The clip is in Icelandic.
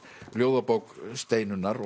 ljóðabók Steinunnar